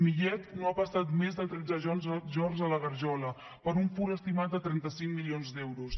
millet no ha passat més de tretze jorns a la garjola per un furt estimat de trenta cinc milions d’euros